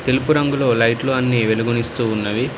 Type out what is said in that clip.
తెలుపు రంగులో లైట్లు అన్నీ వెలుగునిస్తూ ఉన్నవి.